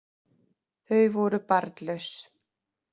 Þau voru barnlaus